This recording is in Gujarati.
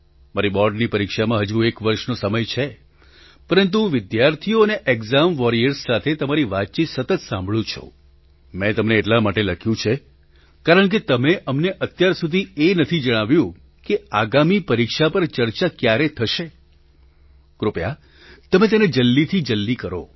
મારી બૉર્ડની પરીક્ષામાં હજુ એક વર્ષનો સમય છે પરંતુ હું વિદ્યાર્થીઓ અને એકઝામ વોરિયર્સ સાથે તમારી વાતચીત સતત સાંભળું છું મેં તમને એટલા માટે લખ્યું છે કારણકે તમે અમને અત્યાર સુધી એ નથી જણાવ્યું કે આગામી પરીક્ષા પર ચર્ચા ક્યારે થશે કૃપયા તમે તેને જલ્દીથી જલ્દી કરો